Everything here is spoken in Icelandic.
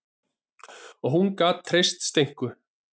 Og hún gat treyst Steinku.